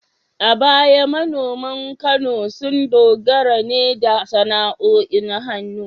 A baya manoman Kano sun dogara ne da sana’o’in hannu